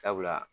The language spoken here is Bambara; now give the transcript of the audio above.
Sabula